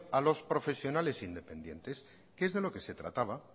a los profesionales independientes que es de lo que se trataba